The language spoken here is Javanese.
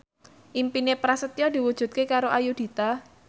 impine Prasetyo diwujudke karo Ayudhita